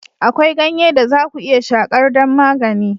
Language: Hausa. Akwai ganye da za ku iya shakar don magani.